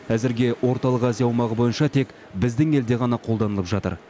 әзірге орталық азия аумағы бойынша тек біздің елде ғана қолданылып жатыр